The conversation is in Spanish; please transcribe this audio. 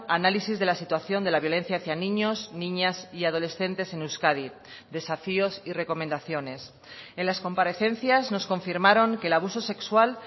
análisis de la situación de la violencia hacía niños niñas y adolescentes en euskadi desafíos y recomendaciones en las comparecencias nos confirmaron que el abuso sexual